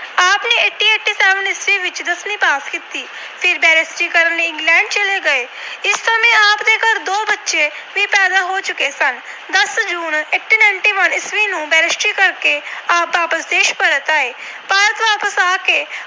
ਦਸਵੀਂ pass ਕੀਤੀ। ਫਿਰ Barrister ਕਰਨ ਲਈ England ਚਲੇ ਗਏ। ਇਸ ਸਮੇਂ ਆਪ ਦੇ ਘਰ ਦੋ ਬੱਚੇ ਵੀ ਪੈਦਾ ਹੋ ਚੁੱਕੇ ਸਨ। ਦਸ June ਅਠਾਰਾਂ ਸੌ ਇਕਾਨਵੇਂ ਈਸਵੀ ਨੂੰ Barrister ਕਰਕੇ ਆਪ ਵਾਪਸ ਦੇਸ਼ ਪਰਤ ਆਏ। ਭਾਰਤ ਵਾਪਸ ਆ ਕੇ